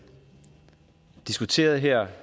diskuteret her af